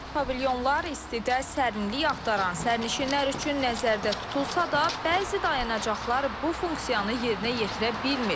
Smart pavilyonlar istidə sərinlik axtaran sərnişinlər üçün nəzərdə tutulsa da, bəzi dayanacaqlar bu funksiyanı yerinə yetirə bilmir.